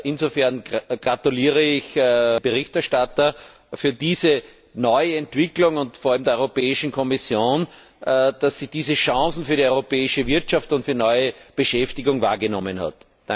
Insofern gratuliere ich dem Berichterstatter für diese neue Entwicklung und vor allem der Kommission, dass sie diese Chancen für die europäische Wirtschaft und für neue Beschäftigung wahrgenommen hat.